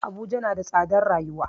Abuja na da tsadar rayuwa